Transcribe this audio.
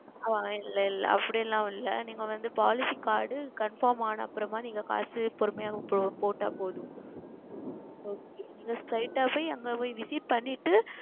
ஆஹ் இல்லை இல்லை அப்படி எல்லாம் இல்லை நீங்கள் வந்து Policy CardConfirm ஆனதற்கு அப்புறம் நீங்கள் காசு பொறுமையாக செலுத்தினால் போதும் Okay நீங்கள் Straight ஆவே அங்கே சென்று Visit செய்துவிட்டு